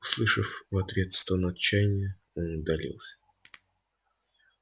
услышав в ответ стон отчаяния он удалился